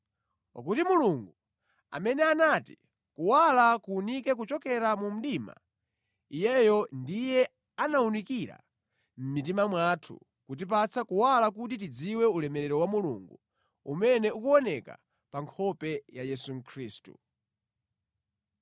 Pakuti Mulungu amene anati, “Kuwala kuwunike kuchokera mu mdima,” Iyeyo ndiye anawunikira mʼmitima mwathu kutipatsa kuwala kuti tidziwe ulemerero wa Mulungu umene ukuoneka pa nkhope ya Yesu Khristu.